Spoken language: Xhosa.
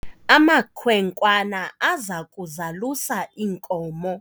amakhwenkwana aza kuzalusa iinkomo